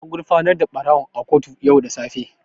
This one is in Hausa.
An gurfanar da ɓarawon a kotu yau da safe.